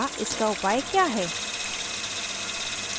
अतः इसका उपाय क्या है